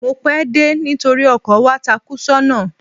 Mo pẹ́ dé nítorí ọkọ̀ wa takú sọ́nà.